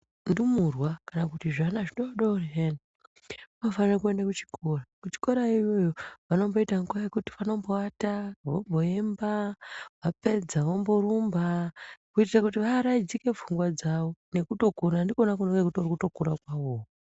Ndumurwa kana kuti zvana zvidoodori zviyani zvinofanire kuenda kuchikora. Kuchikora iyoyo vanomboita nguwa yekumboata, vomboemba, vapedza vomborumba kuitira kuti vaaraidzike pfungwa dzawo nekutokura. Ndikona kutokura kwavowo.